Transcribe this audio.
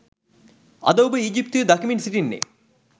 අද ඔබ ඊජිප්තුවේ දකිමින් සිටින්නේ